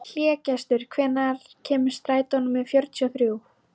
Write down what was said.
Hlégestur, hvenær kemur strætó númer fjörutíu og þrjú?